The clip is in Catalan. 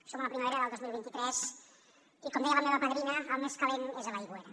som a la primavera del dos mil vint tres i com deia la meva padrina el més calent és a l’aigüera